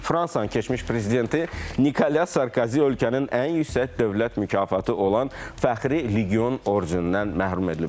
Fransanın keçmiş prezidenti Nikolya Sarkozi ölkənin ən yüksək dövlət mükafatı olan Fəxri Legion ordenindən məhrum edilib.